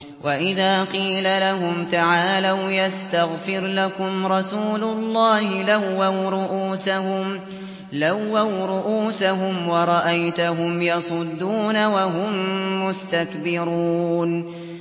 وَإِذَا قِيلَ لَهُمْ تَعَالَوْا يَسْتَغْفِرْ لَكُمْ رَسُولُ اللَّهِ لَوَّوْا رُءُوسَهُمْ وَرَأَيْتَهُمْ يَصُدُّونَ وَهُم مُّسْتَكْبِرُونَ